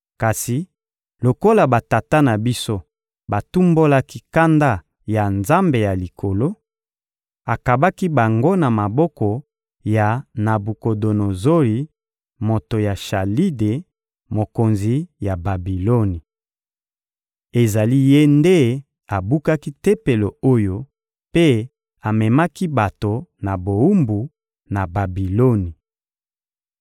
Kasi lokola batata na biso batumbolaki kanda ya Nzambe ya Likolo, akabaki bango na maboko ya Nabukodonozori, moto ya Chalide, mokonzi ya Babiloni. Ezali ye nde abukaki Tempelo oyo mpe amemaki bato na bowumbu, na Babiloni.